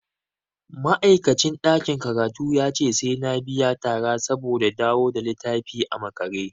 Ma'aikacin ɗakin karatun yace sai na biya tara saboda dawo da littafin a makare.